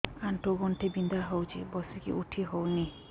ଆଣ୍ଠୁ ଗଣ୍ଠି ବିନ୍ଧା ହଉଚି ବସିକି ଉଠି ହଉନି